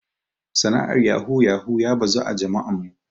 Sana'ar yahu yahu ya bazu a jama'an mu.